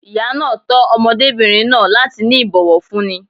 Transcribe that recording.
Ìyá náà tọ́ ọmọdébìnrin náà láti ní ìbòwọ̀fúní.